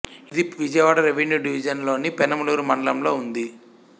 ఇది Vijayawada revenue division లోని పెనమలూరు మండలంలో ఉంది